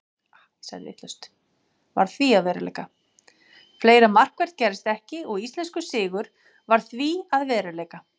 Fleira markvert gerðist ekki og íslenskur sigur varð því að veruleika.